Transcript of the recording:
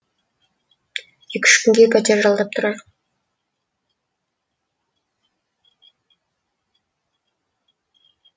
екі үш күнге пәтер жалдап тұрайық